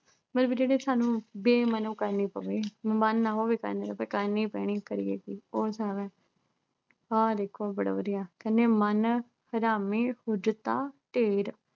ਮਤਲਬ ਜਿਹੜੀ ਸਾਨੂੰ ਬੇ-ਮਨੋਂ ਕਰਨੀ ਪਵੇ ਮਨ ਨਾ ਹੋਵੇ ਕਰਨ ਦਾ ਪਰ ਕਰਨੀ ਪੈਣੀ ਕਰੀਏ ਕੀ ਕੌਣ । ਆਹ ਦੇਖੋ ਬੜਾ ਵਧੀਆ ਕਹਿੰਦੇ ਮਨ ਹਰਾਮੀ, ਹੁਜਤਾਂ ਢੇਰ